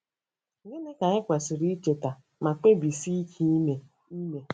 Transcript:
Gịnị ka anyị kwesịrị icheta ma kpebisie ike ime? ime?